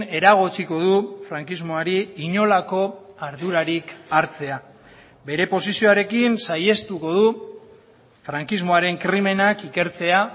eragotziko du frankismoari inolako ardurarik hartzea bere posizioarekin saihestuko du frankismoaren krimenak ikertzea